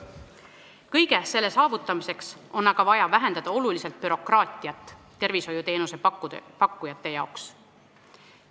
Kõige selle saavutamiseks on aga vaja oluliselt vähendada bürokraatiat tervishoiuteenuse pakkujate tegevuses.